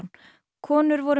konur voru